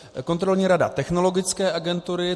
Kontrolní rada Technologické agentury.